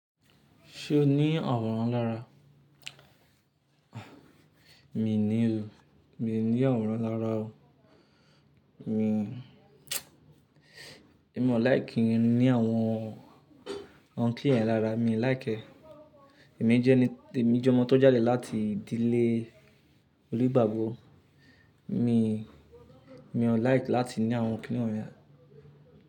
Ṣé o ní awọ̀ran lára? Mi ò ní o. Mi ò ní aworan lára o. Mi, èmi ò like ní àwọn kini yẹn lára, mi ò like ẹ. Èmi jẹ́ ẹni, èmi jẹ́ ọmọ tó jáde láti ìdílé onigbagbo. Mi, mi ò like láti ní àwọn kíni won yẹn.